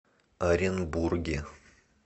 оренбурге